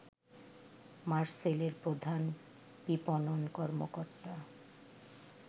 মারসেলের প্রধান বিপণন কর্মকর্তা